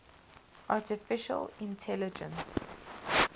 artificial intelligence